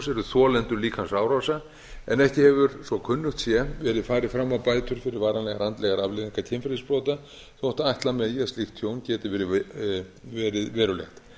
eru þolendur líkamsárása en ekki hefur svo kunnugt sé verið fram á bætur fyrir varanlegar andlegar afleiðingar kynferðisbrota þótt ætla megi að slíkt tjón geti verið verulegt